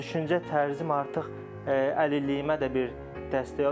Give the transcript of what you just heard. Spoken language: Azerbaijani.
Düşüncə tərzim artıq əlilliyimə də bir dəstək olub.